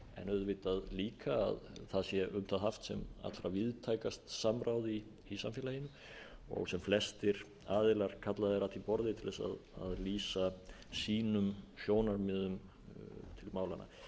auðvitað líka að það sé um það haft sem allra víðtækast samráð í samfélaginu og sem flestir aðilar kallaðir að því borði til þess að lýsa sínum sjónarmiðum til málanna það